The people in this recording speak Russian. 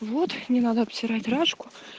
вот не надо обсирать рашку